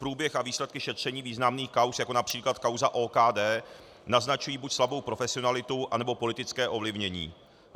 Průběh a výsledky šetření významných kauz, jako například kauza OKD, naznačují buď slabou profesionalitu, anebo politické ovlivnění.